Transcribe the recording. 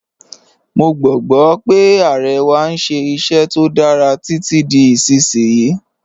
Mọ̀ gbogbo pe Aare wà n ṣẹ iṣẹ̀ tó dára titi di isisiyi.